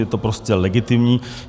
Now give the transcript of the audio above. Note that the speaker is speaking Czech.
Je to prostě legitimní.